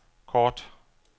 kort